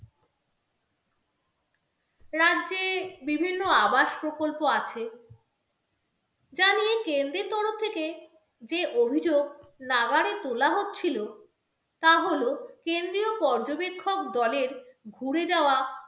রাজ্যে বিভিন্ন আবাস প্রকল্প আছে যা নিয়ে কেন্দ্রীয় তরফ থেকে যে অভিযোগ নাগাড়ে তোলা হচ্ছিলো তা হলো, কেন্দ্রীয় পর্যবেক্ষক দলের ঘুরে যাওয়া